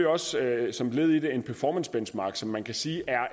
også som led i det en performancebenchmarking som man kan sige er